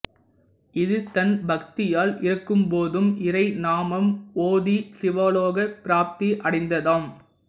இது தன் பக்தியால் இறக்கும்போதும் இறைநாமம்ஓதிச் சிவலோகப் பிராப்தி அடைந்ததாம்